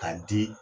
K'a di